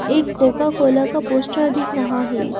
एक Coca Cola का poster दिख रहा है।